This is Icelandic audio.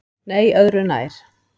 Nei öðru nær.